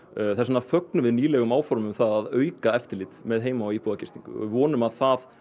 þess vegna fögnum við nýlegum áformum um það að auka eftirlit með heima og íbúðagistingu við vonum að það